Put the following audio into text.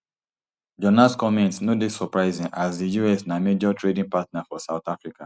jonas comments no dey surprising as di us na major trading partner for south africa